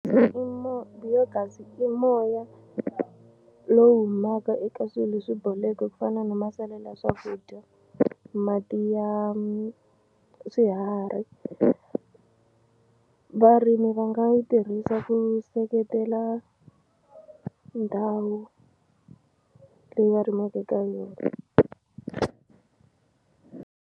biogas i moya lowu humaka eka swilo leswi boleke ku fana na masalela ya swakudya mati ya swiharhi varimi va nga yi tirhisa ku seketela ndhawu leyi va rimaka eka yona.